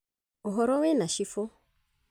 ũhoro wĩna chibũ